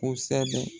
Kosɛbɛ